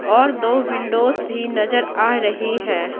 और दो विंडोस भी नजर आ रही है।